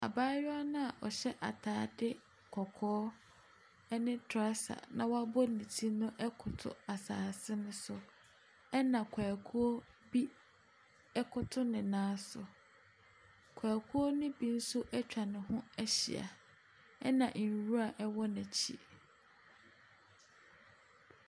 Abaayewa no a ɔhyɛ atade kɔkɔɔ ne trɔsa na wabɔ ne ti no koto asase no so. Ɛna kwakuo bi koto ne nan so. Kwakuo no bi nso atwa ne ho ahyia, ɛna nwira wɔ n'akyi.